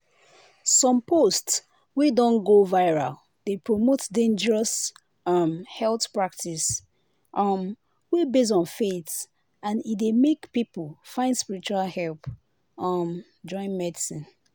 some post wey don go viral dey promote dangerous um health practice um wey base on faith and e dey make people find spiritual help um join medicine.